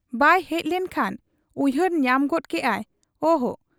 ᱵᱟᱭ ᱦᱮᱡ ᱞᱮᱱ ᱠᱷᱟᱱ ᱩᱭᱦᱟᱹᱨ ᱧᱟᱢ ᱜᱚᱫ ᱠᱮᱜ ᱟᱭ, ᱚᱦᱚ !